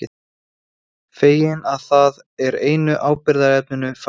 Feginn að það er einu áhyggjuefninu færra.